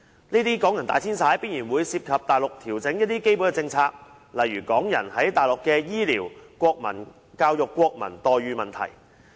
這些港人大遷徙必然會涉及內地一些基本政策的調整，例如港人在內地的醫療、教育、國民待遇等問題。